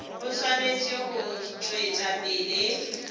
e swanetše go tšwetša pele